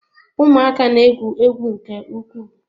Ụmụaka na-egwu egwu nke ukwuu.